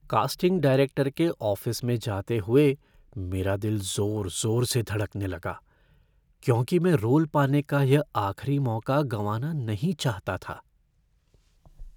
Casting director के office में जाते हुए मेरा दिल ज़ोर ज़ोर से धड़कने लगा, क्योंकि मैं रोल पाने का यह आखिरी मौका गंवाना नहीं चाहता था।